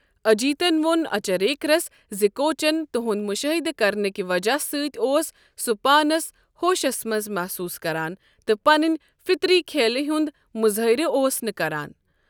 اجیتن وون اچریکرس زِ کوچن تہنٛد مُشٲہدٕ کرنٕک وجہہ سۭتۍ اوس سُہ پانَس ہوشس منٛز محسوس کران، تہٕ پننہِ فطری کھیلہِ ہُنٛد مُظٲہرٕ اوس نہٕ کران۔